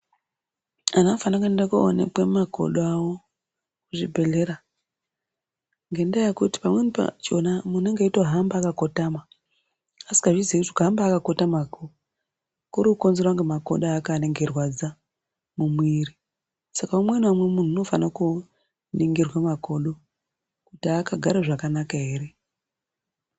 Anhu anofanire kuende koonekwa makodo awo kuzvibhehlera ngendaa yekuti pamweni pakhona muntu unenge eitohamba akakotama asikazvizii kuti kuhamba akakotamako kurikukonzerwa ngemakodo ake anenge meirwadza mumwiri Saka umweni naumwe munhu unofana koningirwa makodo kuti akagare zvakanaka ere.